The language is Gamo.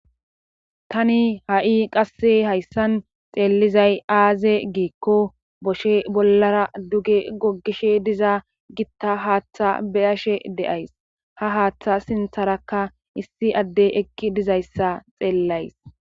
Tani ha7i qasse hayssan xeellizay aaze giikko boshe bollara duge gogishe diza gitta haaththa beyashe de7ays ha haaththa sintharakka issi adde ekki dizayssa xeellays.